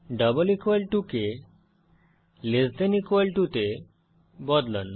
double equal to কে less than equal to তে বদলান